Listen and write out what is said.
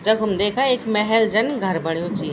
जखम देखा एक महल जन घर बण्युं च ये।